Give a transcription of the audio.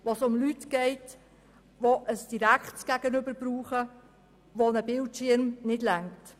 Dabei geht es also um Menschen, die ein direktes Gegenüber brauchen und denen ein Bildschirm nicht ausreicht.